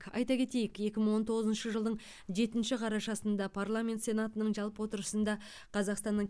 айта кетейік екі мың он тоғызыншы жылдың жетінші қарашасында парламент сенатының жалпы отырысында қазақстанның